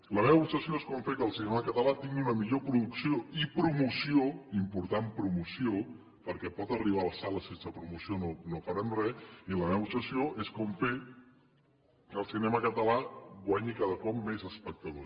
la meva obsessió és com fer que el cinema català tingui una millor producció i promoció important promoció perquè pot arribar a les sales i sense promoció no farem res i la meva obsessió és com fer que el cinema català guanyi cada cop més espectadors